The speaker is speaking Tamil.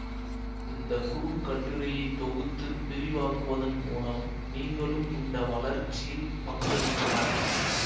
இந்த குறுங்கட்டுரையை தொகுத்து விரிவாக்குவதன் மூலம் நீங்களும் இந்த வளர்ச்சியில் பங்களிக்கலாம்